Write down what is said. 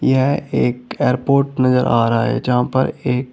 यह एक एयरपोर्ट नजर आ रहा है जहां पर एक--